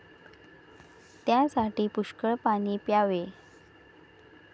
त्यासाठी पुष्कळ पाणी प्यावे.